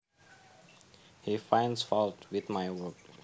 He finds faults with my work